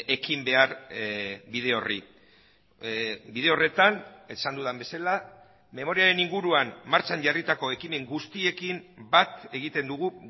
ekin behar bide horri bide horretan esan dudan bezala memoriaren inguruan martxan jarritako ekimen guztiekin bat egiten dugu